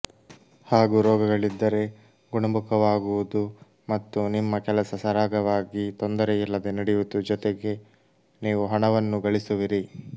ಹಾಗೂ ರೋಗಗಳಿದ್ದರೆ ಗುಣಮುಖವಾಗುವುದು ಮತ್ತು ನಿಮ್ಮ ಕೆಲಸ ಸರಾಗವಾಗಿ ತೊಂದರೆಯಿಲ್ಲದೆ ನಡೆಯುವುದು ಜೊತೆಗೆ ನೀವು ಹಣವನ್ನೂ ಗಳಿಸುವಿರಿ